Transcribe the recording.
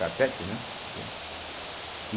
Carpete, né? entende